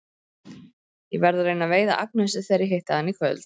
Ég verð að reyna að veiða Agnesi þegar ég hitti hana í kvöld.